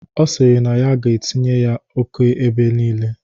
Ọ sịrị na ya ga-etinye ọkụ ebe nile.